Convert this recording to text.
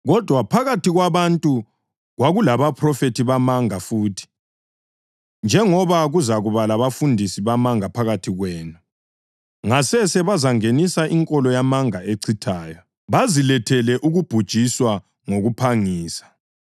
Kodwa phakathi kwabantu kwakulabaphrofethi bamanga futhi, njengoba kuzakuba labafundisi bamanga phakathi kwenu. Ngasese bazangenisa inkolo yamanga echithayo, baze bamphike loThixo iNkosi yobukhosi eyabathengayo, bazilethele ukubhujiswa ngokuphangisa.